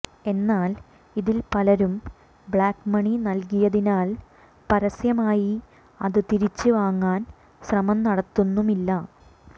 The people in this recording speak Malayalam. എന്നാൽ ഇതിൽ പലരും ബ്ലാക്ക് മണി നൽകിയതിനാൽ പരസ്യമായി അത് തിരിച്ച് വാങ്ങാൻ ശ്രമം നടത്തുന്നുമില്ല